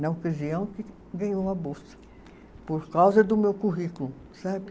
na ocasião que ganhou a bolsa, por causa do meu currículo, sabe?